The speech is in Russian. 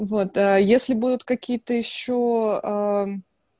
вот если будут какие-то ещё